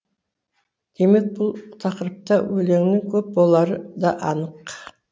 демек бұл тақырыпта өлеңнің көп болары да анық